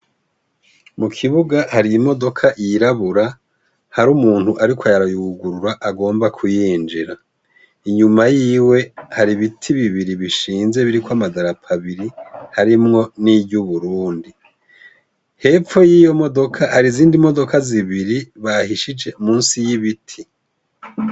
Mu kibuga hari imodoka yirabura hari umuntu, ariko ayarayugurura agomba kuyinjira inyuma yiwe hari ibiti bibiri bishinze biriko amadarapabiri harimwo n'iryo uburundi hepfu y'iyo modoka hari zindi modoka zibiri bahishije musi y'ibi ti.